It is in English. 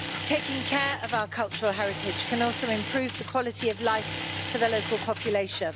Taking care of our cultural heritage can also improve the quality of life for the local population.